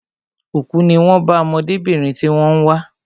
Òkú ní wón bá ọmọdébìnrin tí wón ń wá